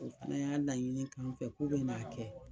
O fana y'a laɲini k'an fɛ k'u bɛn'a kɛ